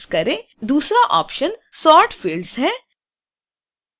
दूसरा option sort fields है